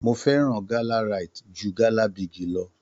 Mo fẹ́ràn gala Rite jù gala Bigi lọ.